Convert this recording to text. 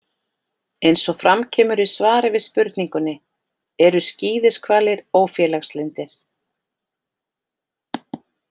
Eins og fram kemur í svari við spurningunni: Eru skíðishvalir ófélagslyndir?